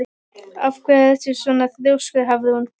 Af hverju ertu svona þrjóskur, Hafrún?